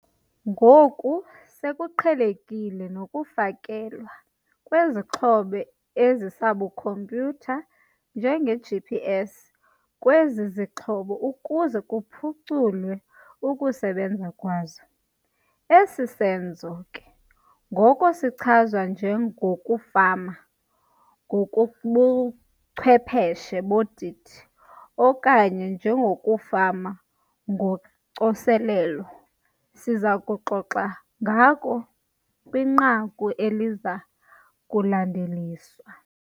Ngoku sekuqhelekile nokufakelwa kwezixhobo ezisabukhompyutha njengeGPS kwezi zixhobo ukuze kuphuculwe ukusebenza kwazo. Esi senzo ke ngoko sichazwa njengokufama ngokobuchwepheshe bodidi okanye njengokufama ngocoselelo esiza kuxoxa ngako kwinqaku eliza kulandeliswa.